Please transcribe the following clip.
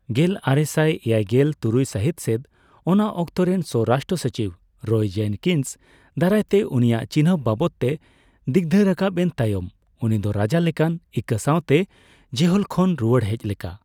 ᱜᱮᱞᱟᱨᱮᱥᱟᱭ ᱮᱭᱟᱭᱜᱮᱞ ᱛᱩᱨᱭᱩᱭ ᱥᱟᱹᱦᱤᱛ ᱥᱮᱫ ᱚᱱᱟ ᱚᱠᱛᱮᱨᱮᱱ ᱥᱚᱨᱟᱥᱴᱨᱚ ᱥᱚᱪᱤᱵᱽ ᱨᱚᱭ ᱡᱮᱱᱠᱤᱱᱥ ᱫᱟᱨᱟᱭ ᱛᱮ ᱩᱱᱤᱭᱟᱜ ᱪᱤᱱᱦᱟᱹᱯ ᱵᱟᱵᱚᱫᱽᱛᱮ ᱫᱤᱜᱫᱷᱟᱹ ᱨᱟᱠᱟᱵᱮᱱ ᱛᱟᱭᱚᱢ ᱩᱱᱤ ᱫᱚ ᱨᱟᱡᱟ ᱞᱮᱠᱟᱱ ᱤᱠᱟᱹ ᱥᱟᱣᱛᱮ ᱡᱮᱦᱳᱞ ᱠᱷᱚᱱᱮ ᱨᱩᱣᱟᱹᱲ ᱦᱮᱡ ᱞᱮᱠᱟ ᱾